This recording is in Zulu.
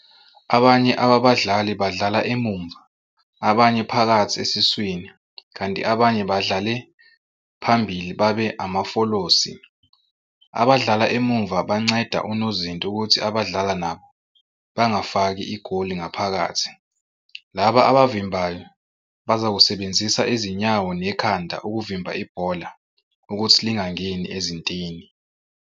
Abanye ababadlali badlala emuva, abanye phakathi esiswini kanti abanye badlale phambili babe amafolosi. Abadlala emuva banceda unozinti ukuthi abadlala nabo bangafaki igoli ngaphakathi, laba abavimbayo bazakusebenzisa izinyawo nekhanda ukuvimba ibhola ukuthi lingangeni ezintini.